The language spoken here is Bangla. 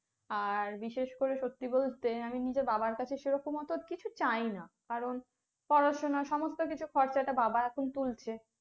আর বিশেষ করে সত্যি বলতে আমি নিজে বাবার কাছে সেরকম অতো কিছু চাই না। কারণ পড়াশোনা সমস্ত কিছুর খরচাটা বাবা এখন তুলছে